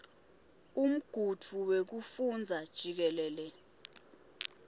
umgudvu wekufundza jikelele